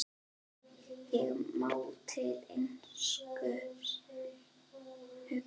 Ég má til einskis hugsa.